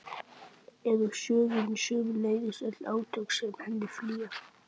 er úr sögunni, sömuleiðis öll átök sem henni fylgja.